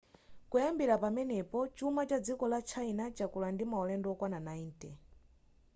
kuyambira pamenepo chuma cha dziko la china chakula ndi maulendo okwana 90